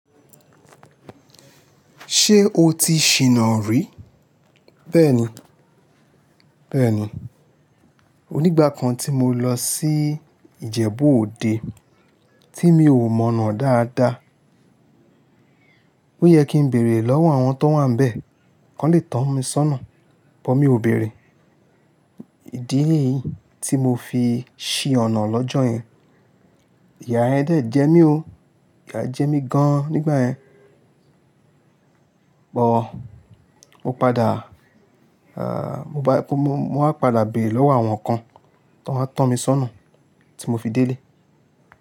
Ṣé o ti ṣìnà rí? Bẹ́ẹ̀ni, bẹ́ẹ̀ni. Onígbá kan tí mo lọ sí Ìjẹ̀bú-Òde tí mi ò mọ̀nà dáadáa. Ó yẹ kí n bèèrè lọ́wọ́ àwọn tan wà n bẹ̀, kan lè tọ́ mi sónà, but mi ò bèèrè. Ìdí ni yìí tí mo fi ṣí ọ̀nà lọ́jọ́ yẹn. Ìyá yẹn dẹ̀ jẹ mí gan, ìyá jẹ mí gan nígbà yẹn. Bọ̀ mo padà, à, mo bá ti kó mo, mo a padà béèrè lọ́wọ́ àwọn kan, Tọ́ à tọ́ mi sónà tí mo fi délé.